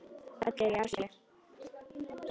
Öll eru í Asíu.